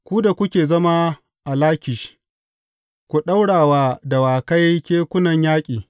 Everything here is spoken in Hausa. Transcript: Ku da kuke zama a Lakish, ku ɗaura wa dawakai kekunan yaƙi.